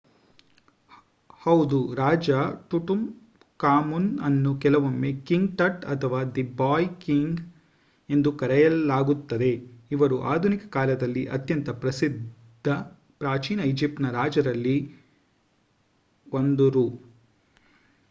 ಹೌದು ರಾಜ ಟುಟಾಂಖಾಮುನ್ ಅನ್ನು ಕೆಲವೊಮ್ಮೆ ಕಿಂಗ್ ಟಟ್ ಅಥವಾ ದಿ ಬಾಯ್ ಕಿಂಗ್ ಎಂದು ಕರೆಯಲಾಗುತ್ತದೆ ಇವರು ಆಧುನಿಕ ಕಾಲದಲ್ಲಿ ಅತ್ಯಂತ ಪ್ರಸಿದ್ಧ ಪ್ರಾಚೀನ ಈಜಿಪ್ಟಿನ ರಾಜರಲ್ಲಿ 1ರು